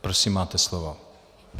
Prosím máte slovo.